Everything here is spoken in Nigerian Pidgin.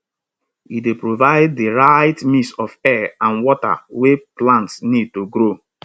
e dey provide di right mix of air and water wey plants need to grow